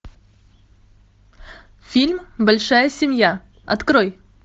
фильм большая семья открой